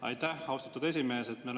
Aitäh, austatud esimees!